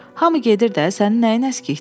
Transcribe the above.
Hamı gedir də, sənin nəyin əskikdir?